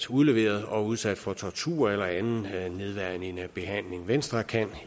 udleveret og udsat for tortur eller anden nedværdigende behandling venstre kan